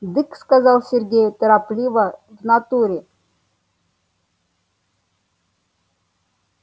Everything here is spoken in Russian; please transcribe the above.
дык сказал сергей торопливо в натуре